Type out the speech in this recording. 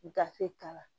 Gafe k'a la